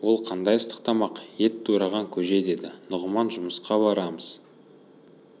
ол қандай ыстық тамақ ет тураған көже деді нұғыман жұмысқа барамыз